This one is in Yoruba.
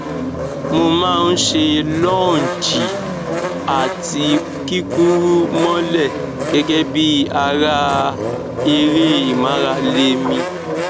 mo má a ń ṣe lọọnjì àti kíkúrú mọlẹ gẹgẹ bí ara eré ìmárale mi